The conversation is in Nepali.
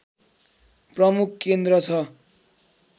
प्रमुख केन्द्र छ